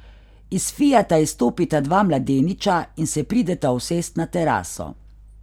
Iz fiata izstopita dva mladeniča in se prideta usest na teraso.